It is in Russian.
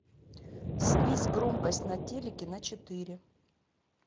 снизь громкость на телике на четыре